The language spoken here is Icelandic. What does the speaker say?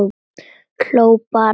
Hló bara.